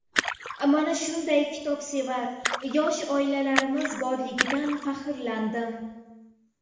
Mana shunday kitobsevar yosh oilalarimiz borligidan faxrlandim.